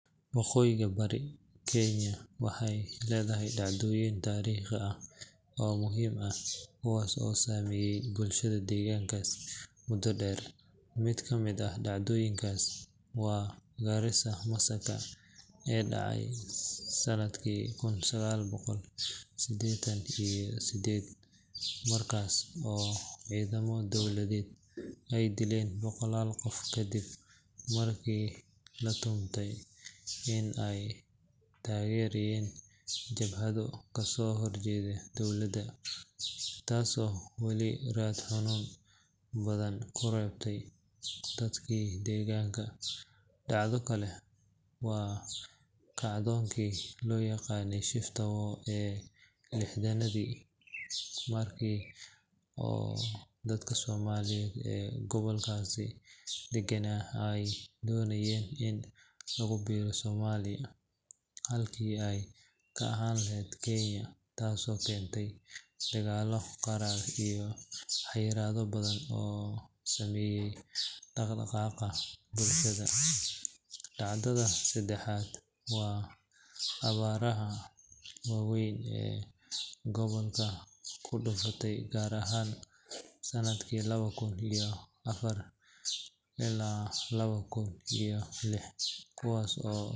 Waqooyiga bari ee Kenya waxay leedahay dhacdooyin taariikhi ah oo muhiim ah kuwaas oo saameeyay bulshada deegaankaas muddo dheer. Mid ka mid ah dhacdooyinkaas waa Garissa Massacre ee dhacay sanadkii kun sagaal boqol siddeetan iyo sideed, markaas oo ciidamo dowladeed ay dileen boqolaal qof kadib markii la tuhmay in ay taageerayeen jabhado kasoo horjeeda dowladda, taasoo weli raad xanuun badan ku reebtay dadka deegaanka. Dhacdo kale waa kacdoonkii loo yaqaanay Shifta War ee lixdanaadkii, markaas oo dadka Soomaaliyeed ee gobolkaasi deganaa ay doonayeen in lagu biiro Soomaaliya halkii ay ka ahaan lahaayeen Kenya taasoo keentay dagaallo qaraar iyo xayiraado badan oo saameeyay dhaqdhaqaaqa bulshada. Dhacdada saddexaad waa abaaraha waaweyn ee gobolka ku dhuftey, gaar ahaan sanadihii laba kun iyo afar ilaa laba kun iyo lix, kuwaas oo.